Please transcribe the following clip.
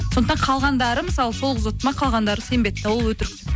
сондықтан қалғандары мысалы сол қыз ұтты ма қалғандары сенбейді де ол өтірік